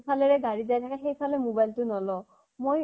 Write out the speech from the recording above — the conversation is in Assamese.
ফালে গাড়ী যাই থাকে সেইফালে mobile তো নলওঁ । মই